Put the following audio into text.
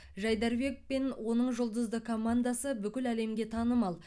жайдарбек пен оның жұлдызды командасы бүкіл әлемге танымал